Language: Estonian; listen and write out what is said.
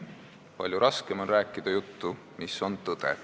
Palju raskem on rääkida juttu, mis on tõde.